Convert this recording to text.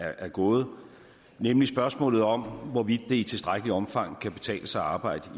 der er gået nemlig spørgsmålet om hvorvidt det i tilstrækkeligt omfang kan betale sig at arbejde